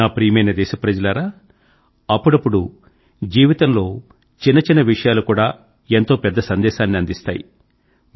నా ప్రియమైన దేశ ప్రజలారా అప్పుడప్పుడు జీవితం లో చిన్నచిన్న విషయాలు కూడా ఎంతో పెద్ద సందేశాన్ని అందిస్తాయి